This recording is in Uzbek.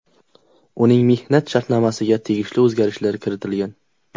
Uning mehnat shartnomasiga tegishli o‘zgartirishlar kiritilgan.